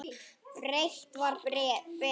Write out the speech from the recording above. Breitt var betra.